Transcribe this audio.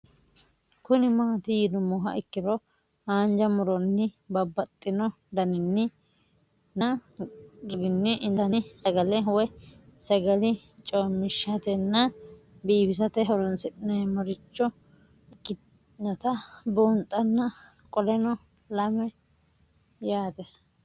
Kuni mati yinumoha ikiro hanja muroni babaxino daninina ragini intani sagale woyi sagali comishatenna bifisate horonsine'morich ikinota bunxana qoleno lame yaate